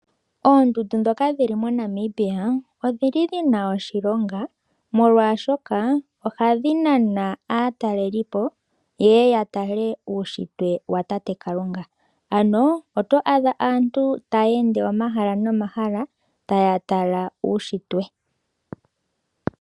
Oondundu ndhoka dhili moNamibia odhili dhina oshilonga molwashoka ohadhj nana aataleli po yeye ya tale uushitwe watate Kalunga, ano oto adha aantu taya ende omahala nomahala taya tala uushitwe.